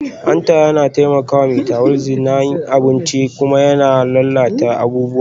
Hanta yana taimakawa metabolism na abinci kuma yana lalata abubuwa